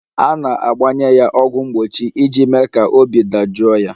A na-agbanye ya ọgwụ mgbochi iji mee ka obi dajụọ ya